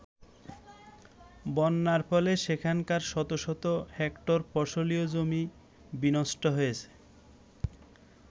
বন্যার ফলে সেখানকার শত শত হেক্টর ফসলী জমি বিনষ্ট হয়েছে।